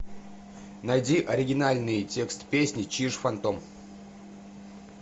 найди оригинальный текст песни чиж фантом